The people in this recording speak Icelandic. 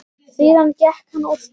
Síðan gekk hann úr stofu.